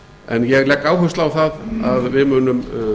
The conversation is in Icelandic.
en ég legg áherslu á að við munum